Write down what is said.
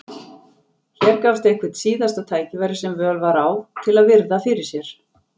Hér gafst eitthvert síðasta tækifæri sem völ var á til að virða fyrir sér